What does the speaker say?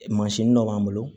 Mansin dɔ b'an bolo